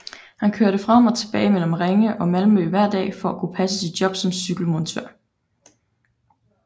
Han kørte frem og tilbage mellem Ringe og Malmø hver dag for at kunne passe sit job som cykelmontør